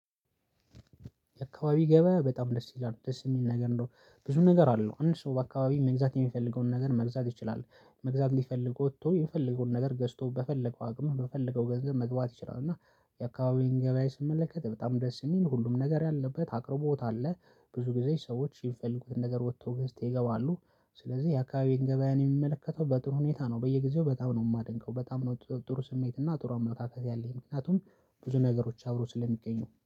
አካባቢ ገበያ በጣም ደስ ይላል ደስ የሚል ነገር ነው ብዙ ነገር አለው አንድ ሰው በአካባቢ መግዛት የሚፈልገውን ነገር መግዛት ይችላል። መግዛት ልፈልግ ወቶ የፈለገውን ነገር ገዝቶ በፈለገው አቅም በፈለገው ገንዘብ መግባት ይችላል እና የአካባቢውን ገበያ ስመለከት በጣም ደስ የሚል ሁሉም ነገር ያለበት አቅርቦት አለ። ብዙ ጊዜ ሰዎች የሚፈልጉትን ነገር ወጥተው ገዝተው ይገባሉ። ስለዚህ የአካባቢውን ገበያን የሚመለከተው በጥሩ ሁኔታ ነው በየጊዜው በጣም ነው የማደንቀው በጣም ነው ጥሩ ስሜት እና ጥሩ አመታታት ያለኝ ምክንያቱም ብዙ ነገሮች አብሮ ስለሚገኙ።